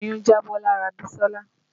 Oyún jábọ́ lára Bisola